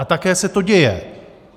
A také se to děje.